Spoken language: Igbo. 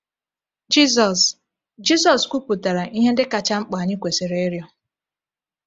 Jizọs Jizọs kwupụtara ihe ndị kacha mkpa anyị kwesịrị ịrịọ.